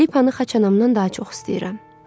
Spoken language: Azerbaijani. Felipanı xaçanamdan daha çox istəyirəm.